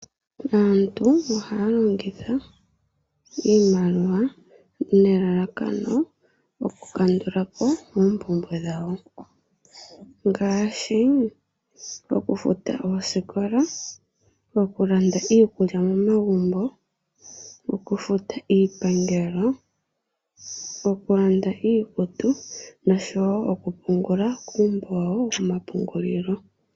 Aantu ohaya longitha iimaliwa nelalakano okukandula po oompumbwe dhawo ngaashi okufuta oosikola, okulanda iikulya momagumbo, okufuta iipangelo, okulanda iikutu noshowo okupungula iimaliwa koompungulilo.